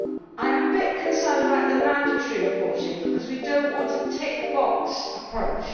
I am a bit concerned about the mandatory reporting, because we do not want a tick box approach.